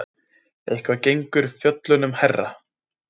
Eitthvað gengur fjöllunum hærra